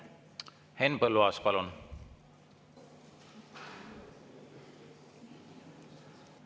Henn Põlluaas, palun!